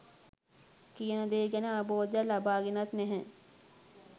කියන දේ ගැන අවබෝධයක් ලබාගෙනත් නැහැ.